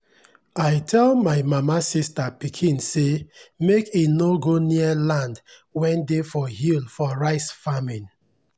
i tell my mama sista pikin say make e nor go near land wen dey for hill for rice farming